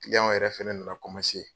yɛrɛ fana nana .